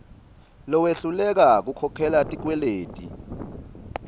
lowehluleka kukhokhela tikweleti